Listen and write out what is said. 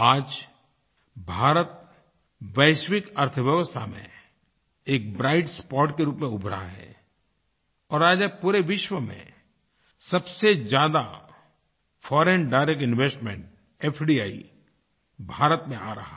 आज भारत वैश्विक अर्थव्यवस्था में एक ब्राइट स्पॉट के रूप में उभरा है और आज पूरे विश्व में सबसे ज़्यादा foreign direct investment FDI Bharat में आ रहा है